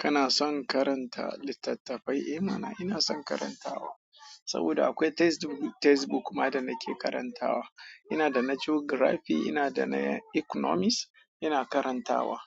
Kana son karanta littattafai? Eh mana, ina son karantawa saboda akwai textbook, textbook ma da nake karantawa. Ina da na Geography, ina da na Economics ina karantawa.